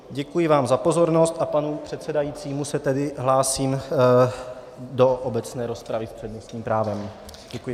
Děkuji vám za pozornost a panu předsedajícímu se tedy hlásím do obecné rozpravy s přednostním právem.